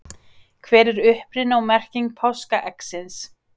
Hver er uppruni og merking páskaeggsins?